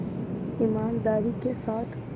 ईमानदारी के साथ